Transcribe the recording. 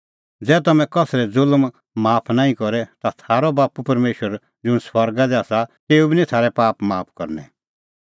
ज़ै तम्हैं कसरै ज़ुल्म माफ नांईं करे ता थारअ बाप्पू परमेशर ज़ुंण स्वर्गा दी आसा तेऊ बी निं थारै पाप माफ करनै